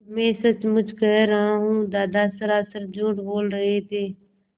मैं सचमुच कह रहा हूँ दादा सरासर झूठ बोल रहे थे